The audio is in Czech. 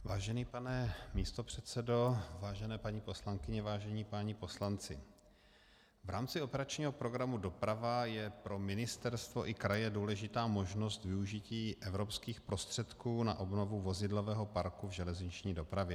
Vážený pane místopředsedo, vážené paní poslankyně, vážení páni poslanci, v rámci operačního programu Doprava je pro ministerstvo i kraje důležitá možnost využití evropských prostředků na obnovu vozidlového parku v železniční dopravě.